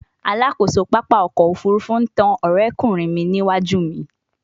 Alakoso papa ọkọ ofurufu n tan ọrẹkunrin mi niwaju mi